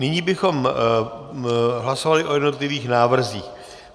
Nyní bychom hlasovali o jednotlivých návrzích.